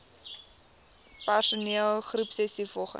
persoon groepsessies volgens